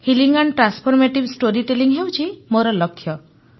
healing and transformative storytelling ହେଉଛି ମୋର ଲକ୍ଷ୍ୟ